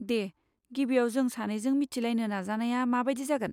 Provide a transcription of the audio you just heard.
दे, गिबियाव जों सानैजों मिथिलायनो नाजानाया माबादि जागोन?